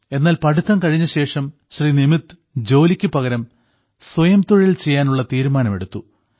എന്നാൽ പഠിത്തം കഴിഞ്ഞശേഷം ശ്രീ നിമിത് ജോലിക്കു പകരം സ്വയംതൊഴിൽ ചെയ്യാനുള്ള തീരുമാനം എടുത്തു